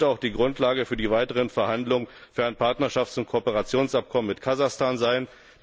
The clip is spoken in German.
Das sollte auch die Grundlage für die weiteren Verhandlungen über ein Partnerschafts und Kooperationsabkommen mit Kasachstan sein.